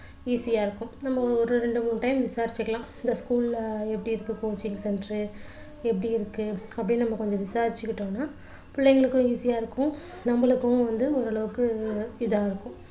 easy ஆ இருக்கும் நம்ம ஒரு ரெண்டு மூணு time விசாரிச்சுக்கலாம் அந்த school ல எப்படி இருக்கு coaching centre எப்படி இருக்கு அப்படின்னு நம்ம கொஞ்சம் விசாரிச்சுக்கிட்டோம்னா பிள்ளைங்களுக்கும் easy யா இருக்கும் நம்மளுக்கும் வந்து ஓரளவுக்கு இதா இருக்கும்